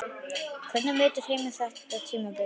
Hvernig metur Heimir þetta tímabil?